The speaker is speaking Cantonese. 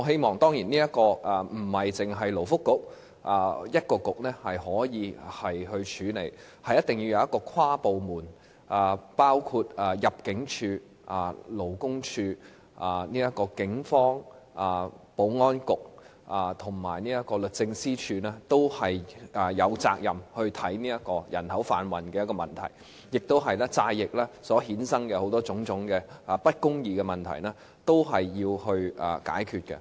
這當然不是單靠勞工及福利局便可以處理的問題，而是一定要由跨部門推動，包括入境事務處、勞工處、警務處、保安局，以及律政司均有責任去檢視的一個有關人口販運的問題，而債役所衍生種種不公義的問題也是要解決的。